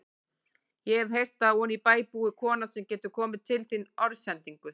Ég hef heyrt að oní bæ búi kona sem getur komið til þín orðsendingu.